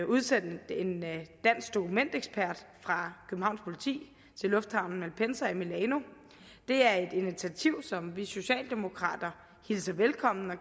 udsendt en dansk dokumentekspert fra københavns politi til lufthavnen malpensa i milano det er et initiativ som vi socialdemokrater hilser velkommen og